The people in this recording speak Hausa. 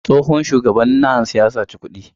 Tsohon shugaban NANS ya saci kuɗi.